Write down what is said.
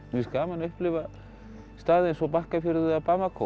finnst gaman að upplifa staði eins og Bakkafjörð eða